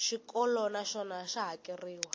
xikolo na xona xa hakeriwa